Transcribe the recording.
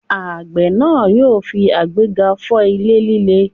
Àgbẹ̀ náà yóò fi agbekà fọ́ ilẹ̀ líle.